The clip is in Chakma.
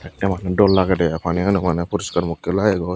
emani dol lagedey i paniganaw maneh poriskar mokkey lagegoi.